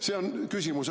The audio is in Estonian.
See on küsimus.